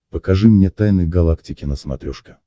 покажи мне тайны галактики на смотрешке